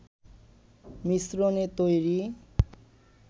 মিশ্রণে তৈরি